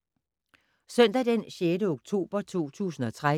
Søndag d. 6. oktober 2013